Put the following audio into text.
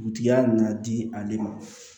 Dugutigiya na na di ale ma